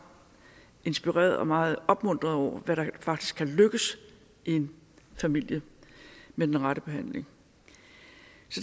inspireret og meget opmuntret over hvad der faktisk kan lykkes i en familie med den rette behandling